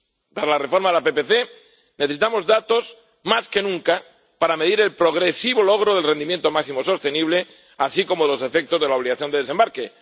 Para la reforma de la PPC necesitamos datos, más que nunca, para medir el progresivo logro del rendimiento máximo sostenible, así como los efectos de la obligación de desembarque.